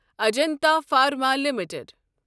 Ajanta pharma limited